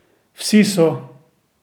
Vsi so.